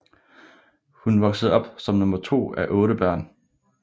Hun voksede op som nummer to af otte børn